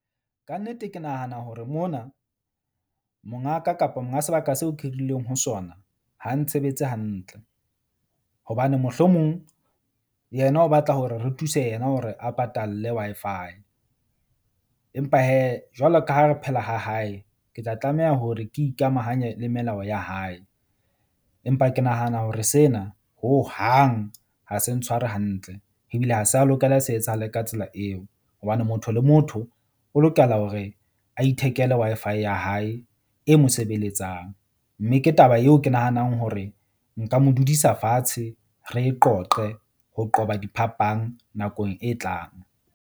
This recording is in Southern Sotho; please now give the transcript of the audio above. Kannete ke nahana hore mona mongaka kapa monga sebaka seo ke hirileng ho sona ha ntshebetse hantle. Hobane mohlomong yena o batla hore re thuse yena hore a patalle Wi-Fi. Empa hee jwalo ka ha re phela ha hae, ke tla tlameha hore ke ikamahanye le melao ya hae. Empa ke nahana hore sena hohang ha se ntshware hantle ebile ha se a lokeleha, se etsahale ka tsela eo. Hobane motho le motho o lokela hore a ithekele Wi-Fi ya hae e mo sebeletsang. Mme ke taba eo ke nahanang hore nka mo dudisa fatshe re e qoqe ho qoba diphapang nakong e tlang.